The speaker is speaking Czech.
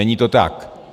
Není to tak.